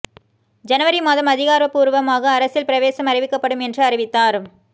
ஜனவரி மாதம் அதிகாரப்பூர்வமாக அரசியல் பிரவேசம் அறிவிக்கப்படும் என்று அறிவித்தார்